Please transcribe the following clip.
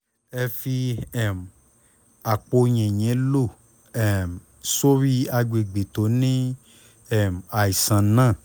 ẹ fi um àpò yìnyín lò um sórí àgbègbè tó ní um àìsàn náà